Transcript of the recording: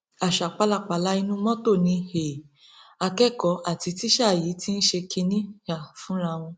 àṣà pálapàla inú mọtò ni um akẹkọọ àti tíṣà yìí ti ṣe kínní um fúnra wọn